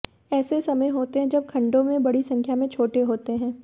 ऐसे समय होते हैं जब खंडों में बड़ी संख्या में छोटे होते हैं